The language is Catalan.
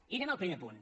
i anem al primer punt